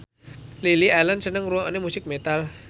Lily Allen seneng ngrungokne musik metal